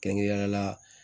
Kɛrɛnkɛrɛnnenya la